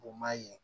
Bon maa ye